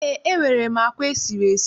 Eé, enwere m àkwá e siri esi.